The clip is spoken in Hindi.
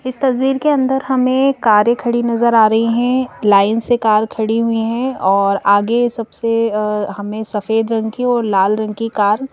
इस तस्वीर के अंदर हमें कारें खड़ी नज़र आ रही हैं लाइन से कार खड़ी हुई हैं और आगे सबसे अ हमें सफेद रंग की और लाल रंग की कार --